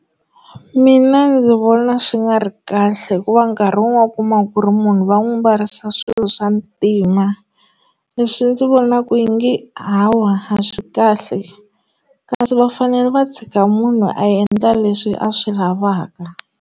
Mina ndzi vona swi nga ri kahle hikuva nkarhi wun'we u kuma ku ri munhu va n'wi mbarisa swilo swa ntima leswi ndzi vona ku yi nge awa a swi kahle kasi va fanele va tshika munhu a endla leswi a swi lavaka.